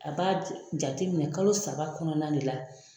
A b'a jateminɛ kalo saba kɔnɔna de la